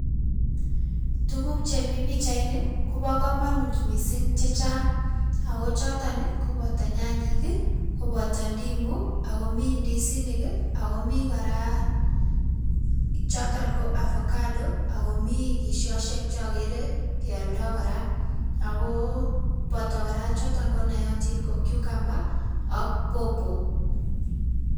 Tukuk che mi pichaini kobo kamunut mising che chang. Aku choton koboto nyanyek, koboto ndimu, akomi ndisinik, akumi kora choton ko avocado, akomi kisiosiek che agere ke aldo kora, ako bota kora choton ko nayatin ko cucumber ak pawpaw.